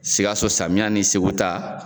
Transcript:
Sikaso samiya ni seku ta